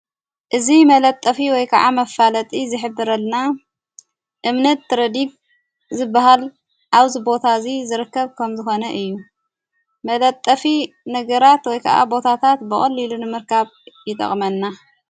እዝ መለጠፊ ወይ ከዓ መፋለጢ ዝኅብረልና እምነት ረዲግ ዝበሃል ዓው ዝቦታ እዙይ ዝርከብ ከም ዝኾነ እዩ መለጠፊ ነገራት ወይ ከዓ ቦታታት በቕልኢሉን ምርካብ ይጠቕመና።